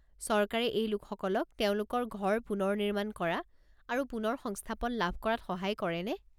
চৰকাৰে এই লোকসকলক তেওঁলোকৰ ঘৰ পুনৰ নিৰ্মাণ কৰা আৰু পুনৰ সংস্থাপন লাভ কৰাত সহায় কৰেনে?